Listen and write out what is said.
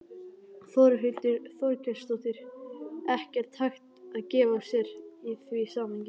Þórhildur Þorkelsdóttir: Ekkert hægt að gefa sér í því samhengi?